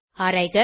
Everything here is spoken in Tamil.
ஆராய்க 1